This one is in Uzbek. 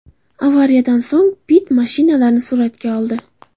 Avariyadan so‘ng Pitt mashinalarni suratga oldi.